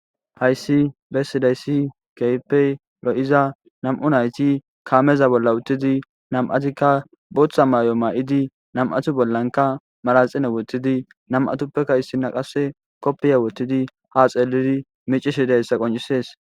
Hayissi besizayissi kehippe loyida nam'u nayiti kameza bolla utidi botha mayo mayidi nam'ati bollanika manaxire wothidi nam'atapeka issina kopiya wothid ha xeliddi micishe dizayissa qoncissesi